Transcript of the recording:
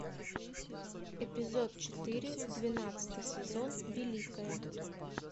эпизод четыре двенадцатый сезон великая